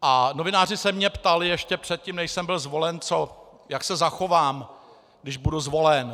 A novináři se mě ptali ještě předtím, než jsem byl zvolen, jak se zachovám, když budu zvolen.